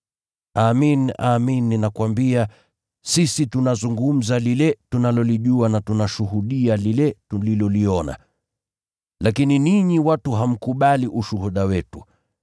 Amin, amin ninakuambia, sisi tunazungumza lile tunalolijua na tunashuhudia lile tuliloliona. Lakini ninyi watu hamkubali ushuhuda wetu.